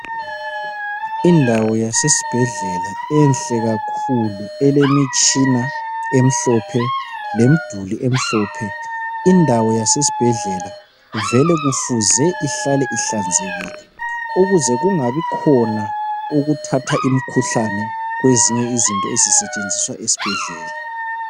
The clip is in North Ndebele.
Indawo yasesibhedlela enhle kakhulu elemitshina emhlophe lemduli emhlophe. Indawo yasesibhedlela vele kufuze ihlale ihlanzekile ukuze kungabi khona ukuthatha imkhuhlane kwezinye izinto ezisetshenziswa esibhedlela.